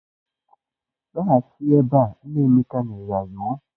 Lọghachi ebe a! Nna Emeka nyere ya iwu.